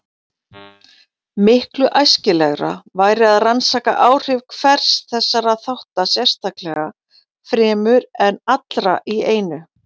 Miklu æskilegra væri að rannsaka áhrif hvers þessara þátta sérstaklega fremur en allra í einu.